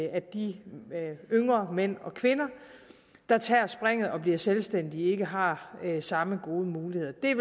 at de yngre mænd og kvinder der tager springet og bliver selvstændige ikke har samme gode muligheder det